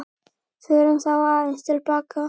Förum þá aðeins til baka.